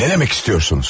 Nə demək istəyirsiniz?